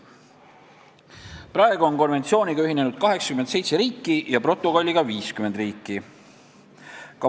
Praegu on konventsiooniga ühinenud 87 riiki ja protokolliga 50 riiki.